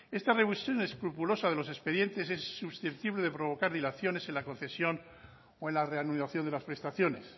esta revisión escrupulosa de los expedientes es susceptible de provocar dilaciones en la concesión o en la reanudación de las prestaciones